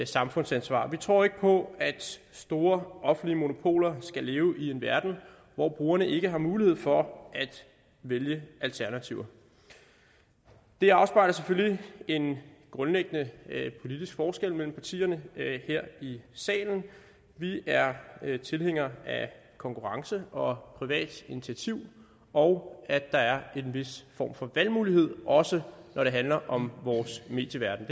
samfundsansvar vi tror ikke på at store offentlige monopoler skal leve i en verden hvor brugerne ikke har mulighed for at vælge alternativer det afspejler selvfølgelig en grundlæggende politisk forskel mellem partierne her i salen vi er tilhængere af konkurrence og privat initiativ og af at der er en vis form for valgmulighed også når det handler om vores medieverden